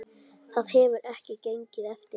Það hefur ekki gengið eftir.